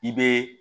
I bɛ